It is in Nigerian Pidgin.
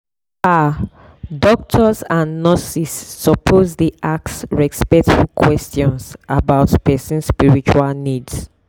ah doctors and nurses suppose dey ask respectful questions about person spiritual needs.